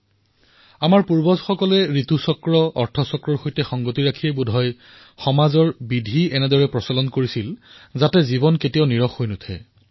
আৰু সেয়ে বোধহয় আমাৰ পূৰ্বজসকলে ঋতুচক্ৰ অৰ্থ চক্ৰ আৰু সমাজ জীৱনৰ ব্যৱস্থাক এনেধৰণে প্ৰস্তুত কৰিছে যে যিকোনো পৰিস্থিতিতে সমাজলৈ যাতে কেতিয়াও নিৰুৎসাহৰ উপস্থিতি নাহে